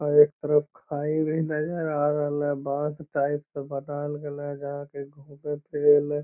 अ एक तरफ खाई भी नजर आ रहले बांस टाइप से बनावल गले --